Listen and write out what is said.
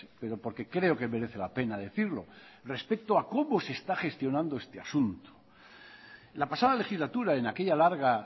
pero porque creo que merece la pena decirlo respecto a cómo se está gestionando este asunto la pasada legislatura en aquella larga